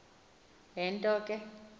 le nto ke